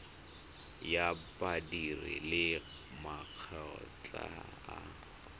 ya badiri le makgotla a